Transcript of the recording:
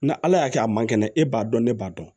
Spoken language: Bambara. Nga ala y'a kɛ a ma kɛnɛ e b'a dɔn ne b'a dɔn